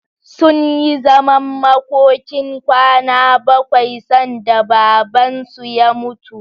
Sunyi zaman makokin kwana bakwai sanda Babansu ya mutu.